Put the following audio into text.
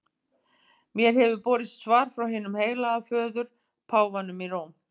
Mér hefur borist svar frá hinum heilaga föður, páfanum í Róm.